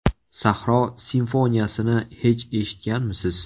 Sahro simfoniyasini hech eshitganmisiz?